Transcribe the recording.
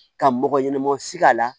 Ka mɔgɔ ɲɛnama si a la